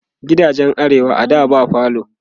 gidajen arewa a da ba falo